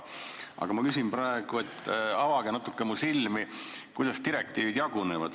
Aga ma küsin praegu, et avage natuke mu silmi selles asjas, kuidas direktiivid jagunevad.